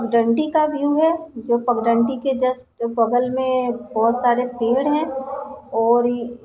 डंडी का व्यू है जो पग डंडी के जस्ट बगल मे बहुत सारे पेड़ हैं और --